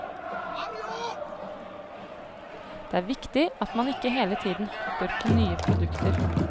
Det er viktig at man ikke hele tiden hopper på nye produkter.